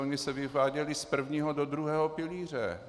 Ony se vyváděly z prvního do druhého pilíře.